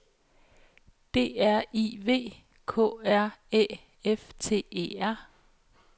D R I V K R Æ F T E R